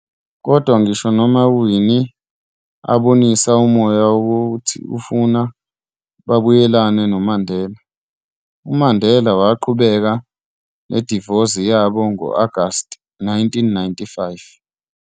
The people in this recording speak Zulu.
Kodwa ngisho noma uWinnie abonisa umoya wokuthi ufuna babuyelane noMandela, uMandela waqhubeka nedivosi yabo ngo-Agast 1995.